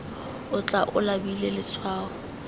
o tla o labile letshwao